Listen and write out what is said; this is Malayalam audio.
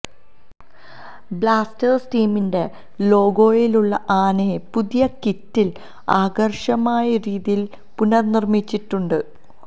ബ്ലാസ്റ്റേഴ്സ് ടീമിന്റെ ലോഗോയിലുള്ള ആനയെ പുതിയ കിറ്റിൽ ആകർഷകമായ രീതിയിൽ പുനര്നിര്മിച്ചിട്ടുണ്ട്